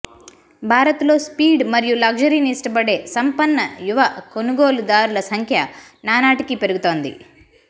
భారత్లో స్పీడ్ మరియు లగ్జరీని ఇష్టపడే సంపన్న యువ కొనుగోలుదారుల సంఖ్య నానాటికీ పెరుగుతోంది